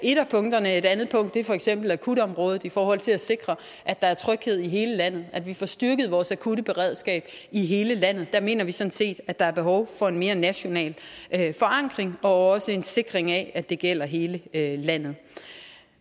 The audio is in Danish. punkterne et andet punkt er for eksempel akutområdet i forhold til at sikre at der er tryghed i hele landet at vi får styrket vores akutte beredskab i hele landet der mener vi sådan set at der er behov for en mere national forankring og også en sikring af at det gælder hele landet